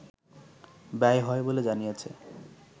ব্যয় হয় বলে জানিয়েছে